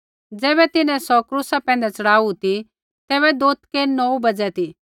ज़ैबै तिन्हैं सौ क्रूसा पैंधै च़ढ़ाऊ ती तैबै दोथकै नौऊ बज़ै ती